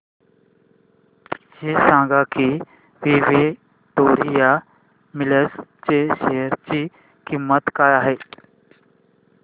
हे सांगा की विक्टोरिया मिल्स च्या शेअर ची किंमत काय आहे